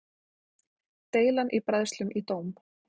Deilan í bræðslum í dóm